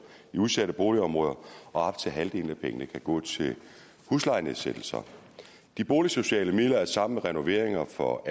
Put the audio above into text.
i udsatte boligområder og op til halvdelen af pengene kan gå til huslejenedsættelser de boligsociale midler er sammen med renoveringer for